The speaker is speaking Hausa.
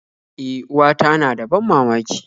E, uwata na da ban mamaki